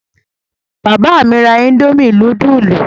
Bàbá mi ra indomie núdúlù?